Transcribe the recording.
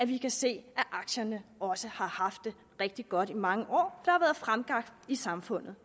vi kan se at aktierne har haft det rigtig godt i mange år har været fremgang i samfundet